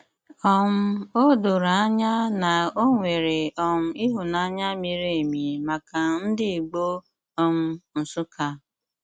um Ó dòrò ànyà na ọ nwere um ịhụ́nanya miri emi maka ndị Ìgbò um Nsụ́kkà.